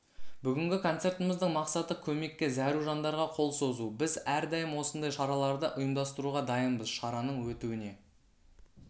бүгінгі концертіміздің мақсаты көмекке зәру жандарға қол созу біз әрдайым осындай шараларды ұйымдастыруға дайынбыз шараның өтуіне